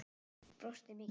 Brosti mikið.